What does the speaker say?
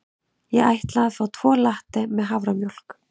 Ég ætla að fá tvo latte með haframjólk.